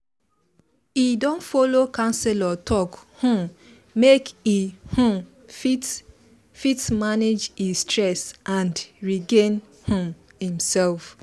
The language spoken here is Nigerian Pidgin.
he don follow counselor talk um make e um fit fit manage e stress and regain um himself